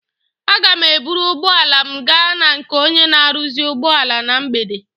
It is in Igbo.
Aga m eburu ụgbọala m gaa na nke onye na-aruzi ụgbọala na mgbede.